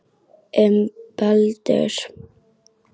Um Baldur.